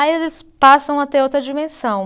Aí eles passam a ter outra dimensão.